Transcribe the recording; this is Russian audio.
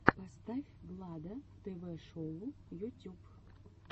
поставь влада тв шоу ютюб